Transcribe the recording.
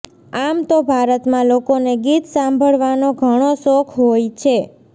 આમ તો ભારતમાં લોકોને ગીત સાંભળવાનો ઘણો શોખ હોય છે